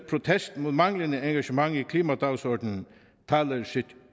protest mod manglende engagement i klimadagsordenen taler sit